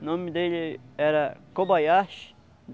O nome dele era Kobayashi.